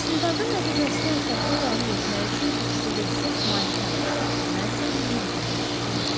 İstintaqın nəticəsini ətraflı təhlil etmək üçün üç dedektiv malikanədə qaldı, mən isə mehmanxanaya yollandım.